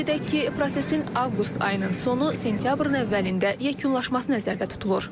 Qeyd edək ki, prosesin avqust ayının sonu, sentyabrın əvvəlində yekunlaşması nəzərdə tutulur.